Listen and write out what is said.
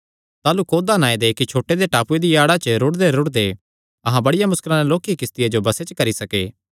ताह़लू कौदा नांऐ दे इक्की छोटे दे टापूये दिया आड़ा च रुड़देरुड़दे अहां बड़िया मुस्कला नैं लोक्की किस्तिया जो बसे च करी सके